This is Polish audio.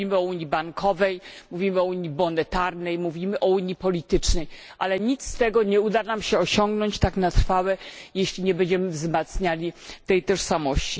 Bo mówimy o unii bankowej, mówimy o unii monetarnej, mówimy o unii politycznej, ale nic z tego nie uda nam się osiągnąć tak na trwałe, jeśli nie będziemy wzmacniali tej tożsamości.